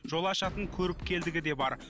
жол ашатын көріпкелдігі де бар